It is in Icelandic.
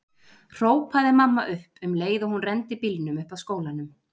hrópaði mamma upp um leið og hún renndi bílnum upp að skólanum.